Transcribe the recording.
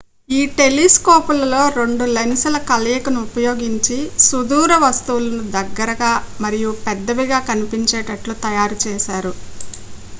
ఈ టెలిస్కోపులలో రెండు లెన్స్ల కలయికను ఉపయోగించి సుదూర వస్తువులను దగ్గరగా మరియు పెద్దవిగా కనిపించేటట్లు తయారు చేశారు